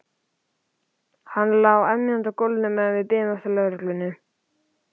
Hann lá emjandi í gólfinu meðan við biðum eftir lögreglunni.